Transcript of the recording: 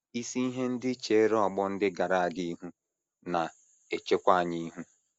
Isi ihe ndị chere ọgbọ ndị gara aga ihu na - echekwa anyị ihu.